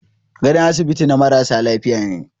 Gadon asibiti na marasa lafiya ne.